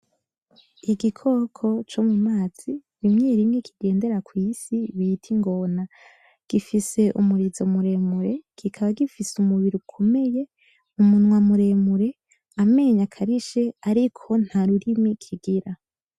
Igikoko co mu mazi rimwe rimwe kigendera kw’isi bita Ingona gifise umurizo mure mure kikaba gifise umubiri ukomeye umunwa muremure amenyo akarishe ariko nta rurimi kigira .